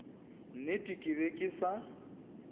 nnete ke be ke sa